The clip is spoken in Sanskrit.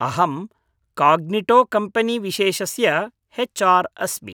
अहं काग्निटोकम्पेनीविशेषस्य हेच् आर् अस्मि।